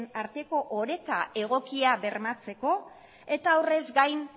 arteko oreka egokia bermatzeko eta horrez gain